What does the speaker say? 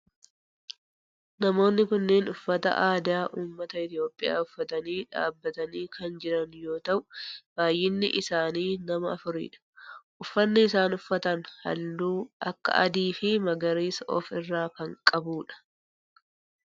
Namoonni kunneen uffata aadaa ummata Itiyoophiyaa uffatanii dhaabbatanii kan jiran yoo ta'u baayyinni isaanii nama afuri dha. Uffanni isaan uffatan halluu akka adii fi magariisa of irraa kan qabu dha.